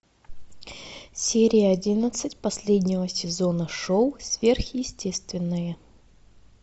серия одиннадцать последнего сезона шоу сверхъестественное